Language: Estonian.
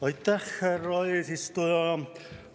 Aitäh, härra eesistuja!